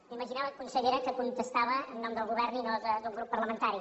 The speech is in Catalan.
m’imaginava consellera que contestava en nom del govern i no d’un grup parlamentari